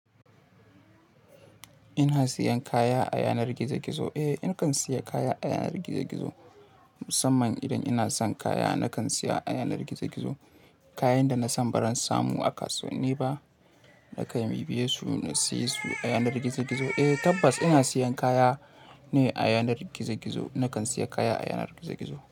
Ina siyan kaya a yanar gizo gizo? Eh, nakan siya kaya a yanar gizo gizo musamman idan ina son kaya nakan siya a yanar gizo gizo. Kayan da na san baran samu a kasuwan ni ba, nakan biya su na siya su a yanar gizo gizo. Eh tabbas ina siyan kaya ne a yanar gizo gizo, nakan siya kaya a yanar gizo gizo.